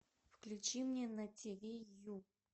включи мне на тиви ю